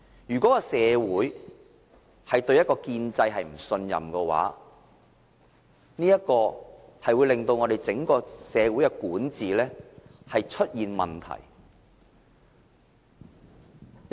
如果社會對建制不信任的話，便會令整個社會的管治出現問題。